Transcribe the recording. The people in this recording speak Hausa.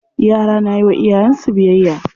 Yara na yiwa iyayen su biyayya.